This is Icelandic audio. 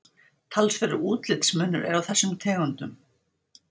Talsverður útlitsmunur er á þessum tegundum.